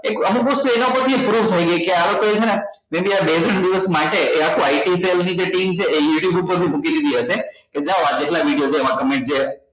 એક અમુક વસ્તુ એના પરે થી proof થઇ ગઈ કે આં લોકો એ છે ને બે ત્રણ દિવસ માટે એ આખી ની જે team છે એ you tube પર મૂકી દીધી હશે કે જાઓ આ જેટલા video છે એમાં comment જે